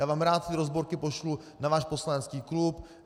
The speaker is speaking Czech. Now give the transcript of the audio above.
Já vám rád ty rozborky pošlu na váš poslanecký klub.